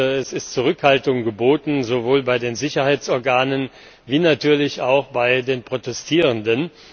Es ist Zurückhaltung geboten, sowohl bei den Sicherheitsorganen als natürlich auch bei den Protestierenden.